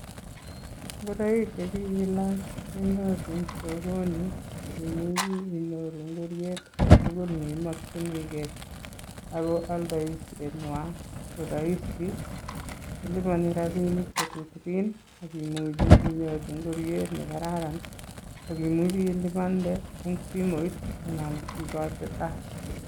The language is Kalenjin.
Ngoroik che kikilach kenyoru ing sokoni akimuchi inyoru ingoriet agetugul neimakchinigei. Ago aldaisenywa ko rahisi, kiliponi rabiinik che tutugin akimuchi inyoru ingoriet ne kararan, akimuchi ilipande eng simoit anan ikoite cash.